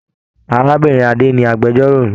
Arábìnrin Ade ni agbẹ̀jọ́ro mí.